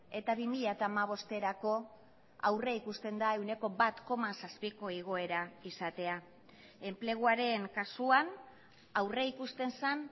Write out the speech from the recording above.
eta bi mila hamabosterako aurrikusten da ehuneko bat koma zazpiko igoera izatea enpleguaren kasuan aurrikusten zen